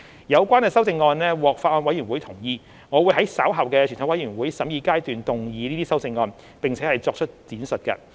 有關修正案獲法案委員會同意，我會在稍後的全體委員會審議階段動議這些修正案，並作出闡述。